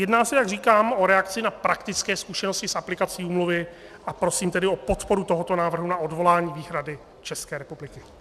Jedná se, jak říkám, o reakci na praktické zkušeností s aplikací úmluvy, a prosím tedy o podporu tohoto návrhu na odvolání výhrady České republiky.